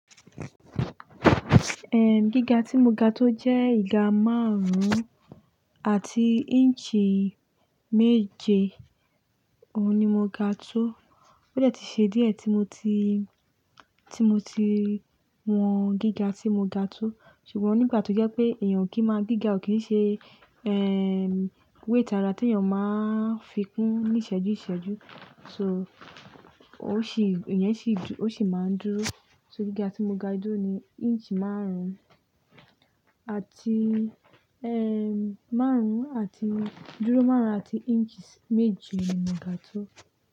Ehn, gíga tí mo ga tó jẹ́ ìga márùn-ún àti inch méje. Òun ni mo ga tó. Ó dẹ́ ti ṣe díẹ̀ tí mo ti, tí mo ti wọn gíga tí mo ga tó. Ṣùgbọ́n nígbà tó jẹ́ pé èèyàn o kì í máa gíga ò kí ń ṣe weight ara tí èèyàn máa ń fi kún ní ìṣẹ́jú ìṣẹ́jú. So, ò sì, ìyẹn sì dú-- ó sì máa ń dúró. So gíga tí mo ga dúró ni inch márùn-ún àti, márùn-ún àti dúró márùn-ún àti inch méje ni mo ga tó.